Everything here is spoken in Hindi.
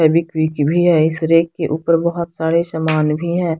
फेवीक्विक भी है इस रैक के ऊपर बहुत सारे समान भी हैं।